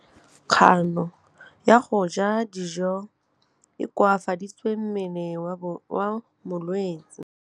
Kganô ya go ja dijo e koafaditse mmele wa molwetse.